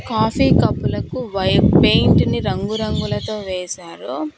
Coffee కప్పులకు వై paint ని రంగురంగులతో వేశారు.